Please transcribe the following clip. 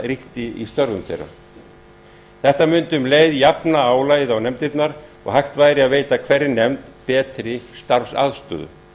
ríkti í störfum þeirra þetta mundi um leið jafna álagið á nefndirnar og hægt væri að veita hverri nefnd betri starfsaðstöðu